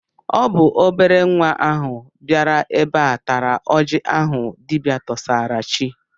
Ọ bụ obere nwa ahụ bịara ebe a tara oji ahụ dibịa tụsara chi.